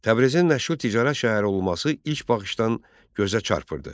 Təbrizin nəşhur ticarət şəhəri olması ilk baxışdan gözə çarpırdı.